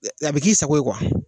A bɛ k'i sago ye